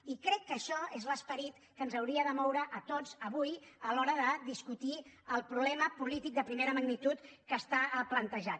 i crec que això és l’esperit que ens hauria de moure a tots avui a l’hora de discutir el problema polític de primera magnitud que està plantejat